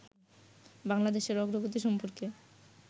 বাংলাদেশের অগ্রগতি সম্পর্কে